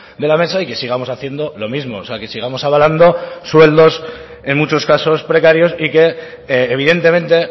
de la mesa y que sigamos haciendo lo mismo o sea que sigamos avalando sueldos en muchos casos precarios y que evidentemente